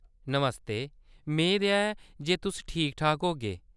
नमस्ते, मेद ऐ जे तुस ठीक-ठाक होगे।